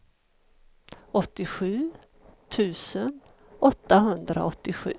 åttiosju tusen åttahundraåttiosju